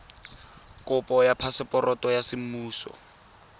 kopo ya phaseporoto ya semmuso